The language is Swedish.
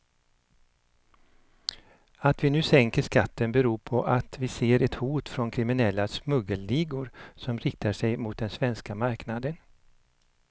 Att vi nu sänker skatten beror på att vi ser ett hot från kriminella smuggelligor som riktar sig mot den svenska marknaden.